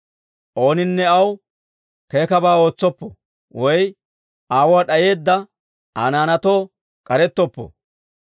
Ooninne aw keekkabaa ootsoppo, woy aawuwaa d'ayeedda Aa naanaatoo k'arettoppo!